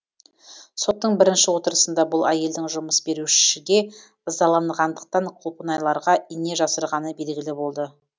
соттың бірінші отырысында бұл әйелдің жұмыс берушіге ызаланғандықтан құлпынайларға ине жасырғаны белгілі болды